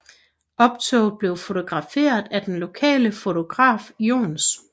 Optoget blev fotograferet af den lokale fotograf Johs